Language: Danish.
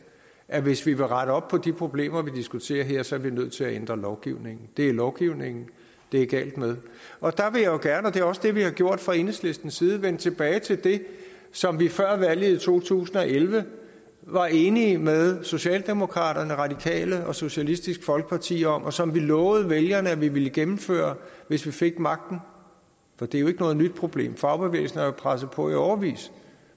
at hvis vil rette op på de problemer vi diskuterer her så er vi nødt til at ændre lovgivningen det er lovgivningen det er galt med og der vil jeg gerne og det er også det vi har gjort fra enhedslistens side vende tilbage til det som vi før valget i to tusind og elleve var enige med socialdemokraterne radikale og socialistisk folkeparti om og som vi lovede vælgerne at vi ville gennemføre hvis vi fik magten for det er jo ikke noget nyt problem fagbevægelsen har presset på i årevis